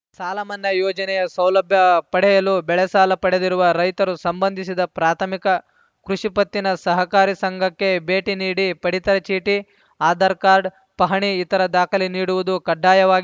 ಸಾಲಮನ್ನಾ ಯೋಜನೆಯ ಸೌಲಭ್ಯ ಪಡೆಯಲು ಬೆಳೆಸಾಲ ಪಡೆದಿರುವ ರೈತರು ಸಂಬಂಧಿಸಿದ ಪ್ರಾಥಮಿಕ ಕೃಷಿ ಪತ್ತಿನ ಸಹಕಾರ ಸಂಘಕ್ಕೆ ಭೇಟಿನೀಡಿ ಪಡಿತರ ಚೀಟಿ ಆಧಾರ್‌ ಕಾರ್ಡ್‌ ಪಹಣಿ ಇತರ ದಾಖಲೆ ನೀಡುವುದು ಕಡ್ಡಾಯವಾಗಿ